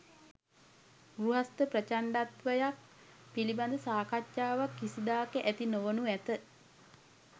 ගෘහස්ථ ප්‍රචණ්ඩත්වයක් පිළිබඳ සාකච්ඡාවක් කිසිදාක ඇති නොවනු ඇත.